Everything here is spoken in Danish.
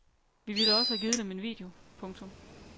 Vi ville også have givet dem en video. punktum